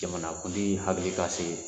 Jamana kuntigi hakili ka se